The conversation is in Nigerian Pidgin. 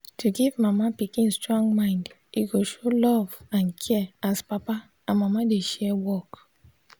to give mama pikin strong mind e go show love and care as papa and mama dey share work.